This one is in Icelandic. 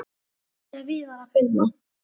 Nafnið er víðar að finna.